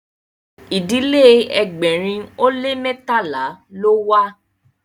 ìdílé ẹgbẹrin o le mẹtala ló wà